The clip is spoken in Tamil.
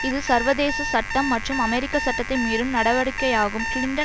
இது சர்வதேச சட்டம் மற்றும் அமெரிக்க சட்டத்தை மீறும் நடவடிக்கையாகும் கிளிண்டன்